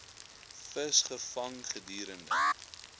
vis gevang gedurende